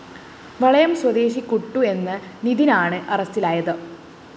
വളയം സ്വദേശി കുട്ടു എന്ന നിധിന്‍ ആണ് അറസ്റ്റിലായത്